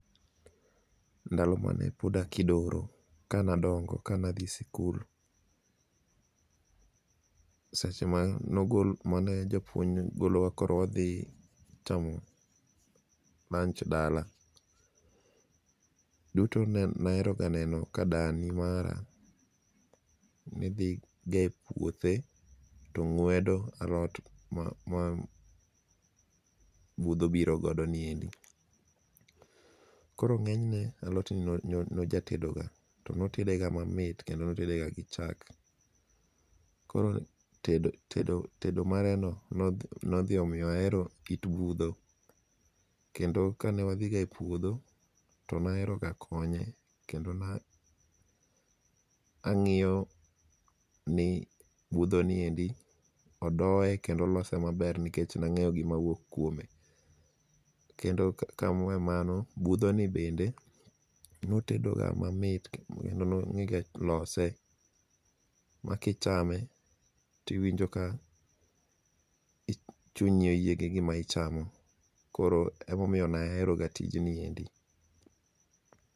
ndalo mane pod akidoro kane adongo kane athi sikul, seche mane japuonj golowa koro wathi chamo lunch dala, duto ne aheroga neno ka dani mara nethi ga e puothe to ng'wedo alot ma butho biro godo niendi, koro nge'nyne alotni ne ajagatedoga to ne otedega mamit kendo ne otedega gi chak, koro tedo mareno nothi miya heroga kit butho kendo kanewathi ga e puotho to ne aheroga konye kendo na angi'yoni buthoni odoye kendo olose maber nikech na nge'yo ga gimawuok kuome. Kendo kawaweyo mano buthoni bende notedoga mamit nikech ne onge'ga lose makichame to iwinjoga ni chunyi oyie gi gima ichamo koro emomiyo ne aheroga tijni endi.